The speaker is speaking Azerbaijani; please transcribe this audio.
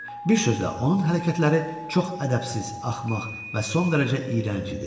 Bir sözlə, onun hərəkətləri çox ədəbsiz, axmaq və son dərəcə iyrənc idi.